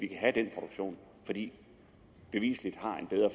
kan have den produktion fordi